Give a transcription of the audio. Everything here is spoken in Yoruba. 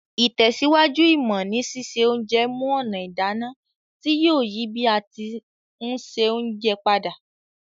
Ìtẹ̀síwájú ìmọ́ ni sise onje mu ònà ìdáná ti yio yi bi a ti n se ounje padà